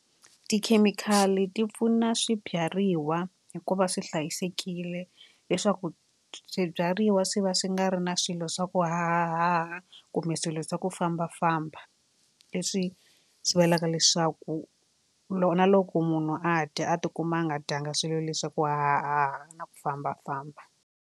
Tikhemikhali ti pfuna swibyariwa hi ku va swi hlayisekile leswaku swibyariwa swi va swi nga ri na swilo swa ku hahahaha kumbe swilo swa ku fambafamba leswi sivelaka leswaku loko na loko munhu a dya a tikuma a nga dyanga swilo le swa ku hahahaha na ku fambafamba.